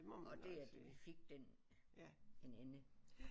Og det at vi fik den en ende